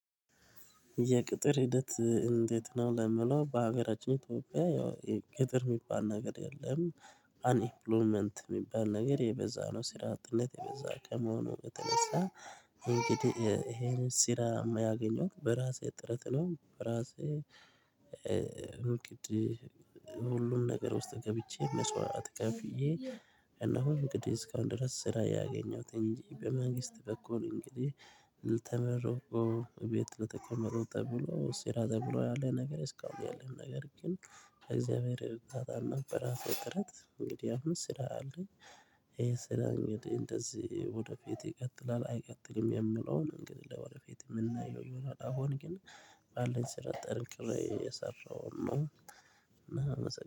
የቅጥር ሂደት እንዴት? ነው ለሚለው በሀገራችን ኢትዮጵያ ያው ቅጥር የሚባል ነገር የለም። አንኢምፕሎመንት የሚባል ነገር የበዛ ነው ስራ አጥነት የበዛ ከመሆኑ በተነሳ ይሄ ይሄንን ስራም ያገኘው በራሴ ጥረት ነው። በራሴ እንግዲህ ሁሉም ነገር ውስጥ ገብቼ ምስዋእት ከፍየ እና አሁን እንግዲህ እስካሁን ድረስ ስራ ያገኘሁት እንጂ በመንግስት በኩል እንግዲህ ተመርቆ ቤት ለተቀመጠው ተብሎ ስራ ተብሎ ያለ ነገር እስካሁን ያለን ነገር ግን እግዚአብሔር እርዳታ እና በራሴ ጥረት እንግዲህ አሁን ስራ አለኝ። ይሄ ስራ እንግዲህ እንደዚህ ወደ ፊት ይቀጥላል አይቀጥልም የምለውን እንግዲህ ለወደፊት የምናየው አሁን ግን ባለኝ ስራ ጠንክሬ እየሰራሁ ነው።